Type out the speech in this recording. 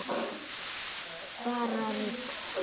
Bara rugl.